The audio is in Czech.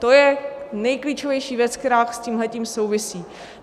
To je nejklíčovější věc, která s tímhletím souvisí.